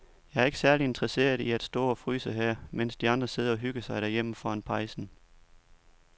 Jeg er ikke særlig interesseret i at stå og fryse her, mens de andre sidder og hygger sig derhjemme foran pejsen.